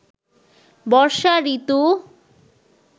বর্ষা ঋতু